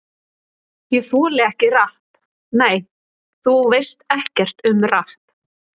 Ég þoli ekki rapp Nei, þú veist ekkert um rapp.